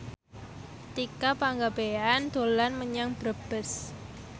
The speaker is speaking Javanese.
Tika Pangabean dolan menyang Brebes